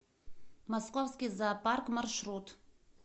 московский зоопарк маршрут